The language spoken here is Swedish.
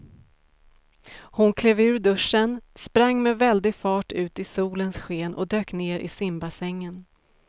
Hon klev ur duschen, sprang med väldig fart ut i solens sken och dök ner i simbassängen.